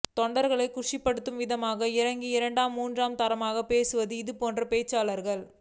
தொண்டர்களை குஷிப்படுத்தும் விதமாக இறங்கி இரண்டாம் மூன்றாம் தரமாகப் பேசுவார்கள் இதுபோன்ற பேச்சாளர்கள்